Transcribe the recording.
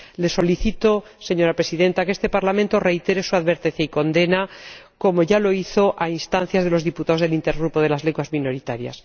Le solicito, señora Presidenta, que este Parlamento reitere su advertencia y condene, como ya lo hizo a instancias de los diputados del Intergrupo sobre las lenguas minoritarias.